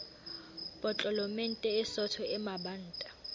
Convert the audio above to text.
potlolomente e sootho e mabanta